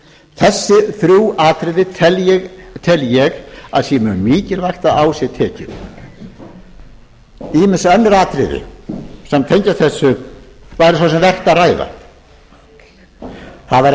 þessi þrjú atriði tel ég að sé mikilvægt að á sé tekið ýmis önnur atriði sem tengjast þessu væri svo sem vert